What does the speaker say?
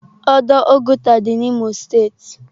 Ọdọ Oguta dị n'Imo steeti.